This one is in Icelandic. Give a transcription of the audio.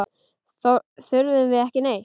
Þurfum við ekki neitt?